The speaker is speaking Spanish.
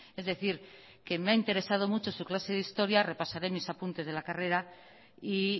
es decir que me ha interesado mucho su clase de historia repasaré mis apuntes de la carrera y